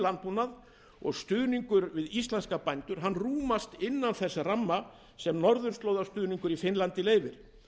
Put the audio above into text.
landbúnað og stuðningur við íslenska bændur rúmast innan þess ramma sem norðurslóðastuðningur í finnlandi leyfir